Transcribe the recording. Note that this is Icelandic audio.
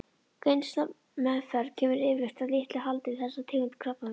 Geislameðferð kemur yfirleitt að litlu haldi við þessa tegund krabbameins.